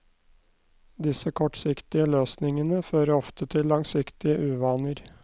Disse kortsiktige løsningene fører ofte til langsiktige uvaner.